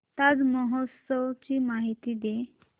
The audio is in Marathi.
ताज महोत्सव ची माहिती दे